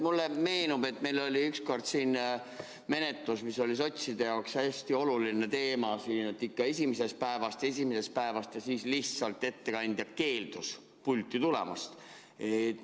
Mulle meenub, et meil oli ükskord siin menetlus, mis oli sotside jaoks hästi oluline teema, et ikka esimesest päevast, ja siis lihtsalt ettekandja keeldus pulti tulemast.